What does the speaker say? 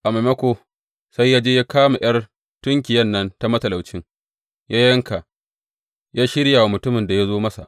A maimako, sai ya je ya kama ’yar tunkiyan nan ta matalaucin ya yanka ya shirya wa mutumin da ya zo masa.